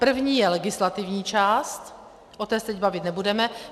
První je legislativní část, o té se teď bavit nebudeme.